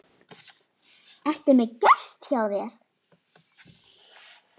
Ertu með gest hjá þér